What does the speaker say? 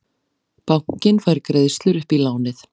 Bankinn fær greiðslur upp í lánið